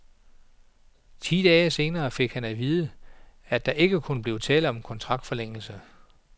Ti dage senere fik han at vide, at der ikke kunne blive tale om en kontraktforlængelse.